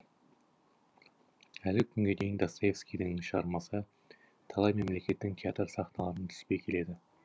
әлі күнге дейін достоевскийдің шығармасы талай мемлекеттің театр сахналарынан түспей келеді